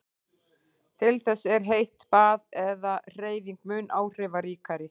Til þess er heitt bað eða hreyfing mun áhrifaríkari.